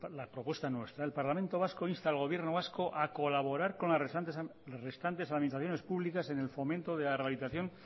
la propuesta nuestra el parlamento vasco insta al gobierno vasco a colaborar con las restantes administraciones públicas en el fomento de la realización